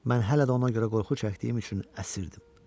Mən hələ də ona görə qorxu çəkdiyim üçün əsirdim.